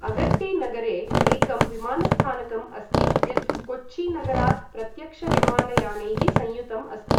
अगट्टी नगरे एकं विमानस्थानकम् अस्ति यत् कोच्ची नगरात् प्रत्यक्षविमानयानैः संयुतम् अस्ति।